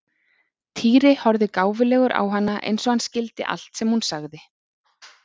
Týri horfði gáfulegur á hana eins og hann skildi allt sem hún sagði.